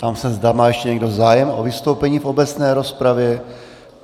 Ptám se, za má ještě někdo zájem o vystoupení v obecné rozpravě.